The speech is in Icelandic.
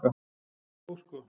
Jú, sko.